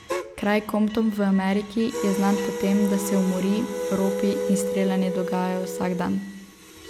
Kraj Compton v Ameriki je znan po tem, da se umori, ropi in streljanje dogajajo vsak dan.